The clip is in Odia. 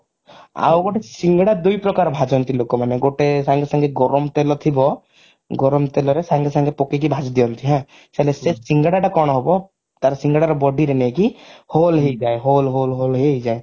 ଆଉ ଗୋଟେ ସିଙ୍ଗଡା ଦୁଇ ପ୍ରକାର ଭାଜନ୍ତି ଲୋକମାନେ ଗୋଟେ ସାଙ୍ଗେ ସାଙ୍ଗେ ଗରମ ତେଲ ଥିବ ଗରମ ତେଲରେ ସାଙ୍ଗେ ସାଙ୍ଗେ ପକେଇକି ଭାଜିଦିଅନ୍ତି ହାଁ ହେଲେ ସେ ସିଙ୍ଗଡା ଟା କଣ ହବ ସିଙ୍ଗଡା ର body ରେ ନେଇକି hole hole hole ହେଇଯାଏ